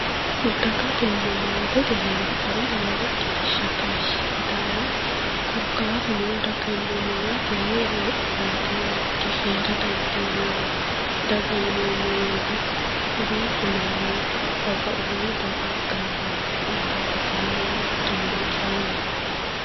Dagatenna maatete heera anera lowo geeshsha tashshi yitannoe korkaatuno daganna maate heedhurooti ninke heera dandiineemmohu. daga yineemmo woyiite duuchu manni babbaxitino daga gamba yitino maate kaayiinni mitto mine callaati